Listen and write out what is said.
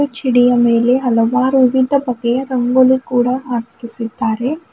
ಚಿಡಿಯ ಮೇಲೆ ಹಲವಾರು ವಿವಿಧ ಬಗೆಯ ರಂಗೋಲಿ ಕೂಡ ಹಾಕಿಸಿದ್ದಾರೆ.